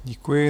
Děkuji.